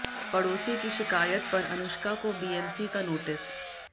पड़ोसी की शिकायत पर अनुष्का को बीएमसी का नोटिस